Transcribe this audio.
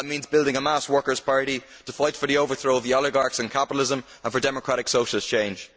That means building a mass workers' party to fight for the overthrow of the oligarchs and capitalism and for democratic socialist change.